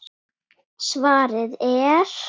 Ég man númerið ennþá.